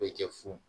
Bɛɛ kɛ fu